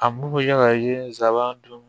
A mun ya ka ye n sabanan don